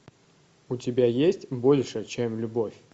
у тебя есть больше чем любовь